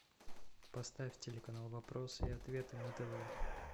поставь телеканал вопросы и ответы на тв